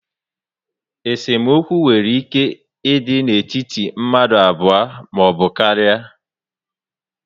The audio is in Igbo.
Esemokwu nwere ike ịdị n'etiti mmadụ abụọ maọbụ karia